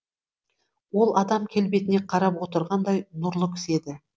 ол адам келбетіне қарап отырғандай нұрлы кісі еді